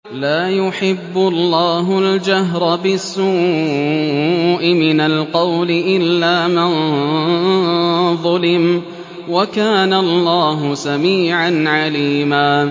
۞ لَّا يُحِبُّ اللَّهُ الْجَهْرَ بِالسُّوءِ مِنَ الْقَوْلِ إِلَّا مَن ظُلِمَ ۚ وَكَانَ اللَّهُ سَمِيعًا عَلِيمًا